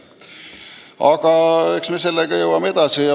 Aga eks me sellega läheme edasi.